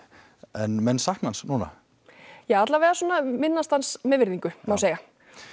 menn sakna hans núna ja allavega svona minnast hans með virðingu má segja